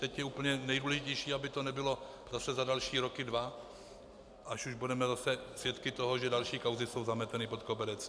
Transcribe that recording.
Teď je úplně nejdůležitější, aby to nebylo zase za další dva roky, až už budeme zase svědky toho, že další kauzy jsou zameteny pod koberec.